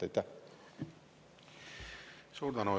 Suur tänu!